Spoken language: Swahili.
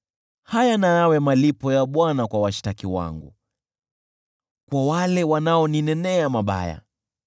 Haya na yawe malipo ya Bwana kwa washtaki wangu, kwa wale wanaoninenea mabaya.